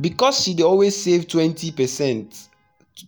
because she dey always save 20 percent